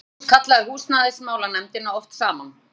Magnús kallaði húsnæðismálanefndina oft saman.